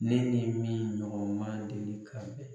Ne ni min ɲɔgɔn ma deli ka bɛn.